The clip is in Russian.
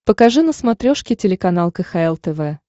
покажи на смотрешке телеканал кхл тв